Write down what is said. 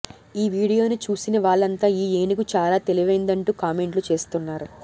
ఈ వీడియోను చూసిన వాళ్లంతా ఈ ఏనుగు చాలా తెలివైందంటూ కామెంట్లు చేస్తున్నారు